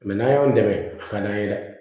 Mɛ n'an y'an dɛmɛ a ka d'an ye dɛ